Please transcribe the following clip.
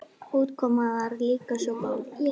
Útkoman var svona líka góð.